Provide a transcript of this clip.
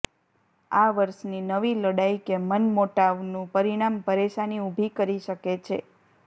આ વર્ષની નવી લડાઈ કે મનમોટાવનુ પરિણામ પરેશાની ઉભી કરી શકે છે